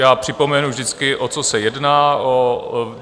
Já připomenu vždycky, o co se jedná.